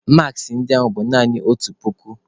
Maaskị ndị a bụ naanị otu puku.